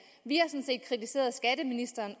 vi